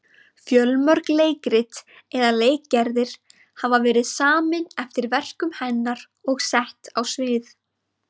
Fjölmörg leikrit eða leikgerðir hafa verið samin eftir verkum hennar og sett á svið.